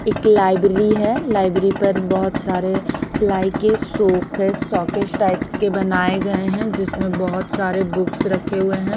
एक लाइब्रेरी हैं लाइब्रेरी पर बहुत सारे पिलाई के शो केस श केस टाइप के बनाए गये हैं जिसमे बहुत सारे बुक रखे हुए हैं।